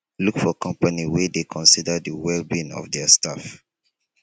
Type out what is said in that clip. look for company wey dey consider the well being of their staff